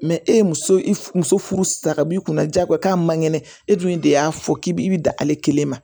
e ye muso i f muso furusi ka b'i kunna jagoya k'a man kɛnɛ e dun de y'a fɔ k'i bi i bi dan ale kelen ma